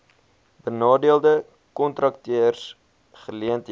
benadeelde kontrakteurs geleenthede